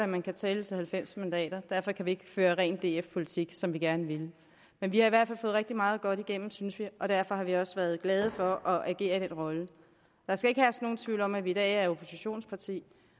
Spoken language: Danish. man kan tælle til halvfems mandater derfor kan vi ikke føre ren df politik sådan som vi gerne ville men vi har i hvert fald fået rigtig meget godt igennem synes vi og derfor har vi også været glade for at agere i den rolle der skal ikke herske nogen tvivl om at vi i dag er oppositionsparti